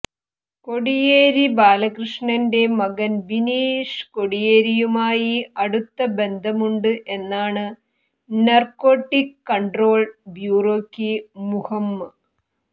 കോടിയേരി ബാലകൃഷ്ണന്റെ മകൻ ബിനീഷ് കോടിയേരിയുമായി അടുത്ത ബന്ധമുണ്ട് എന്നാണ് നാർക്കോട്ടിക്ക് കൺട്രോൾ ബ്യൂറോയ്ക്ക് മുഹമ്